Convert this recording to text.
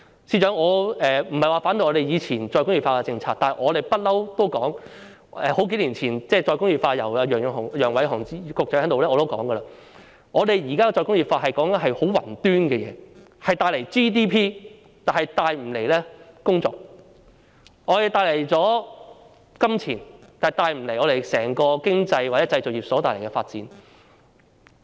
司長，我不是反對以前的再工業化政策，但數年前楊偉雄局長提出再工業化時，我已經指出，現時談再工業化，說的是十分宏觀的事情，只會帶來 GDP， 但卻無法帶來工作，能夠帶來金錢，但卻無法帶動整個經濟或製造業發展。